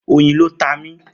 Oyin ló ta mí.